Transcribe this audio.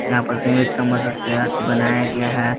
यहां पर सीमेंट की मदद से बनाया गया है।